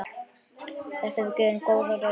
Þetta hefur gefið góða raun.